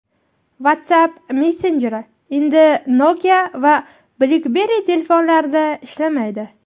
WhatsApp messenjeri endi Nokia va BlackBerry telefonlarida ishlamaydi.